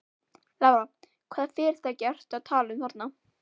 Lára: Hvaða fyrirtæki ertu að tala um þarna?